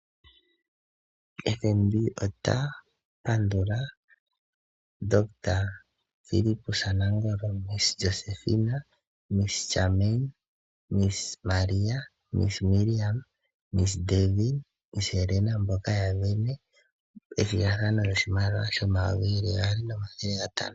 FNB ota pandula Dr. Fillipusa Nangolo, Ms Josephina, Ms Jamine, Ms Maria, Ms Miriam, Ms Deevi, Ms Helena mboka ya vene ethigathano lyoshimaliwa shomayovi geli gaali nomathele gatano.